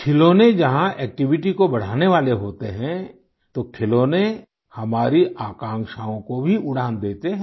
खिलौने जहां एक्टिविटी को बढ़ाने वाले होते हैं तो खिलौने हमारी आकांक्षाओं को भी उड़ान देते हैं